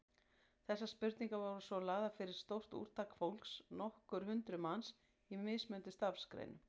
Þessar spurningar voru svo lagðar fyrir stórt úrtak fólks, nokkur hundruð manns, í mismunandi starfsgreinum.